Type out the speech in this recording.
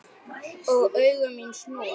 Og augu mín snúast.